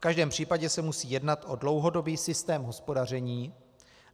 V každém případě se musí jednat o dlouhodobý systém hospodaření.